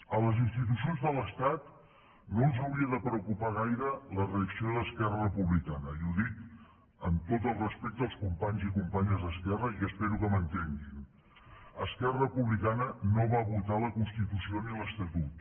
a les institucions de l’estat no els hauria de preocupar gaire la reacció d’esquerra republicana i ho dic amb tot el respecte als companys i companyes d’esquerra i espero que m’entenguin esquerra republicana no va votar la constitució ni l’estatut